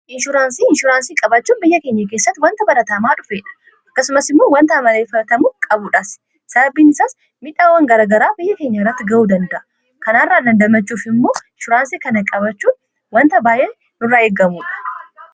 inshuraansii inshuraansii qabaachuun biyya keenyaa keessatti wanta barataamaa dhufeedha akkasumas immoo wanta amaleefatamu qabuudhaas sababiinisaas miidhaawwan garagaraa biyya keenya irratti ga'uu danda'a kanaairraa dandamachuuf immoo ishuraansii kana-qabachuun wanta baayee nurraa eegamuudha